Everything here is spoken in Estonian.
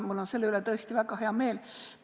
Mul on selle üle tõesti väga hea meel.